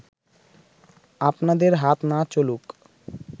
আপনাদের হাত না চলুক